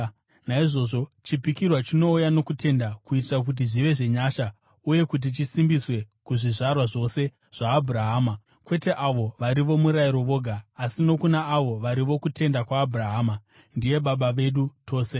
Naizvozvo chipikirwa chinouya nokutenda, kuitira kuti zvive zvenyasha uye kuti chisimbiswe kuzvizvarwa zvose zvaAbhurahama, kwete avo vari vomurayiro voga, asi nokuna avo vari vokutenda kwaAbhurahama. Ndiye baba vedu tose.